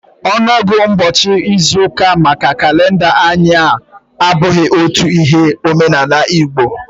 ọnụọgụ ụbọchị n'izu maka kalenda anyi a abụghị otu Ihe n'omenala Igbo